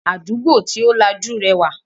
Àdúgbò tí ó lajú rẹwà